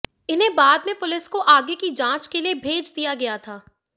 इन्हें बाद में पुलिस को आगे की जांच के लिए भेज दिया गया था